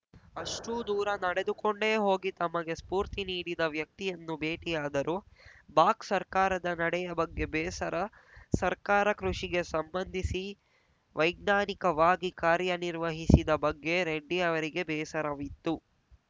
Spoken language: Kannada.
ಅಷ್ಟೂದೂರ ನಡೆದುಕೊಂಡೇ ಹೋಗಿ ತಮಗೆ ಸ್ಫೂರ್ತಿ ನೀಡಿದ ವ್ಯಕ್ತಿಯನ್ನು ಭೇಟಿಯಾದರು ಬಾಕ್ ಸರ್ಕಾರದ ನಡೆಯ ಬಗ್ಗೆ ಬೇಸರ ಸರ್ಕಾರ ಕೃಷಿಗೆ ಸಂಬಂಧಿಸಿ ವೈಜ್ಞಾನಿಕವಾಗಿ ಕಾರ್ಯನಿರ್ವಹಿಸಿದ ಬಗ್ಗೆ ರೆಡ್ಡಿ ಅವರಿಗೆ ಬೇಸರವಿತ್ತು